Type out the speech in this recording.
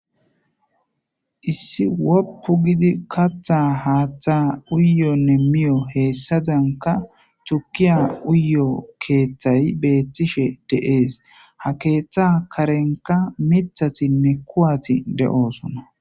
Issi woppu gidi kaththa haaththa uyiyonne miyo hessadankka tuukiya uyiyo keththay beettishe dishe de'es ha keththa karenikka miiththattinne kuwatii de'ossonna.